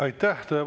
Aitäh!